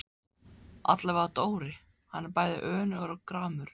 Allavega Dóri, hann er bæði önugur og gramur.